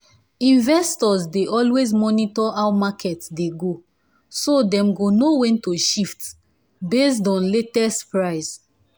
investors dey always monitor how market dey go so them go know when to shift based on latest price.